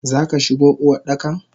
Zaka shigo Uwardakan?